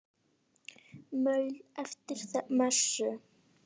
Maul eftir messu.